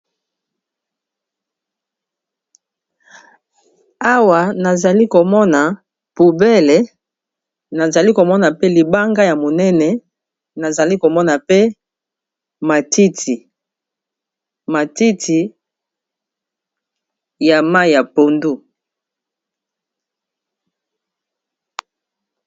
awa nazali komona poubele nazali komona pe libanga ya monene nazali komona pe matiti matiti ya mai ya pondu na lezard.